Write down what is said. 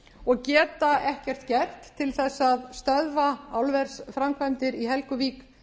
og geta ekkert gert til þess að stöðva álversframkvæmdir í helguvík